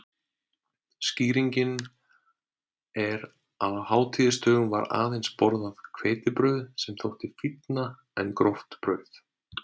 Skýringin er að á hátíðisdögum var aðeins borðað hveitibrauð sem þótti fínna en gróft brauð.